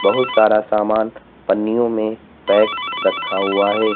बहुत सारा सामान पन्नियों में पैक रखा हुआ है।